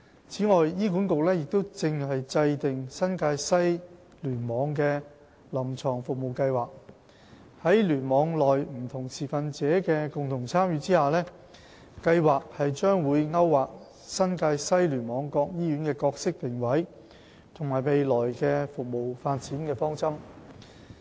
此外，醫管局正制訂新界西聯網的"臨床服務計劃"，在聯網內不同持份者的共同參與下，計劃將會勾劃新界西聯網各醫院的角色定位和未來的服務發展方針。